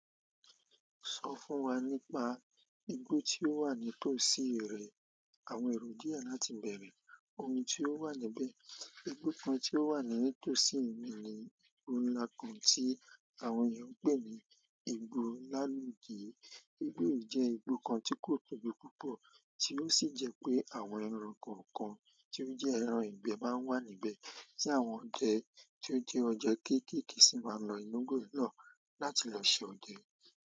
Sọ fún wa nípa igbó tí ó wà nítòsí re, àwọn èrò díẹ̀ láti bẹ̀rẹ̀ ohun tí ó wà níbẹ̀. Igbó kan tí ó wà nítòsí mi ni igbó ńlá kan tí àwọn ènìyàn ń pè ní Igbó Ìalude. Igbó yìí jẹ́ igbó kan tí kò tóbi púpọ̀ tí ó sì jẹ́ pé àwọn ẹran kọ̀ọ̀kan tí ó jẹ́ ẹran ìgbẹ́ máa ń wà níbẹ̀, tí àwọn ọdẹ tí ó jẹ́ ọde kéékèèké sì máa ń lọ inú igbó yìí na láti lọ ṣe ọdẹ.